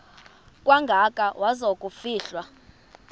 kangaka waza kufihlwa